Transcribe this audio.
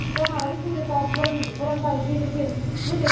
жаңағы республикалық бірыңғай желіден бөлек